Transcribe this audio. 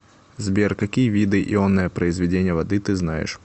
сбер какие виды ионное произведение воды ты знаешь